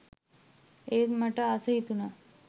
ඒත් මට ආස හිතුණා